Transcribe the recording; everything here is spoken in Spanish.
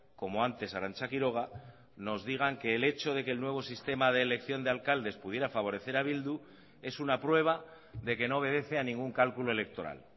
como antes arancha quiroga nos digan que el hecho de que el nuevo sistema de elección de alcaldes pudiera favorecer a bildu es una prueba de que no obedece a ningún cálculo electoral